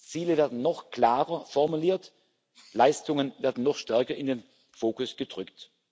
zu. Ziele werden noch klarer formuliert, Leistungen werden noch stärker in den Fokus gerückt.